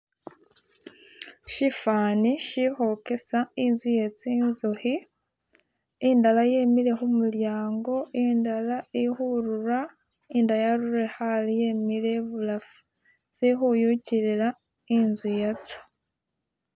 Shifani shikhogesa inzu ye zinzukhi indala yemile khumulyango indala ili khurula indala yarulile khale yemile ibulafu zili khuyugilila inzu yatso.